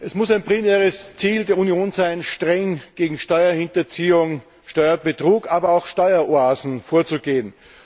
Es muss ein primäres Ziel der Union sein, streng gegen Steuerhinterziehung, Steuerbetrug, aber auch Steueroasen vorzugehen.